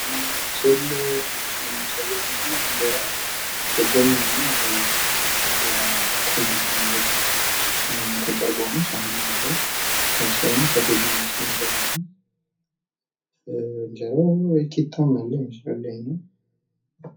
ምግብ ማህበራዊ መስተጋብርን የሚያጠናክርበት አጋጣሚ ሲሆን ሰዎች በጋራ በመመገብ ትስስራቸውን ያሳድጋሉ።